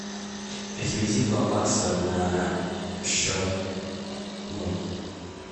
переведи два бакса на счет мой